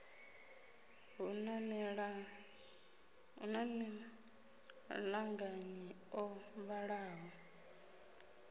hu na maṱanganyi o vhalaho